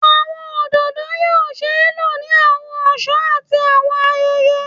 Awọn ododo yoo ṣee lo ni awọn ọṣọ ati awọn ayẹyẹ